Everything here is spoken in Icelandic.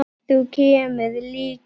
Þú kemur líka.